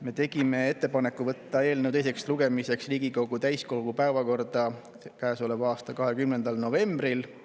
Me tegime ettepaneku võtta eelnõu teiseks lugemiseks Riigikogu täiskogu päevakorda käesoleva aasta 20. novembril.